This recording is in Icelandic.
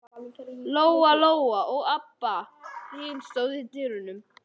Lóa-Lóa og Abba hin stóðu í dyrunum.